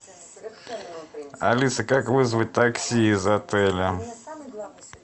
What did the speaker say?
алиса как вызвать такси из отеля